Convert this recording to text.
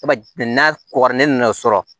n'a kokara ne nana sɔrɔ